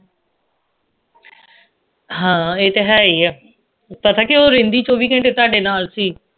ਹਾਂ ਇਹ ਤੇ ਹੈ ਈ ਏ ਪਤਾ ਕੇ ਉਹ ਰਹਿੰਦੀ ਚੌਵੀ ਘੰਟੇ ਤੁਹਾਡੇ ਨਾਲ ਸੀ